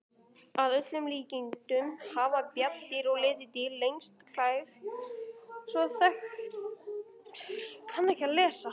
Að öllum líkindum hafa bjarndýr og letidýr lengstu klær sem þekktar eru meðal núlifandi dýra.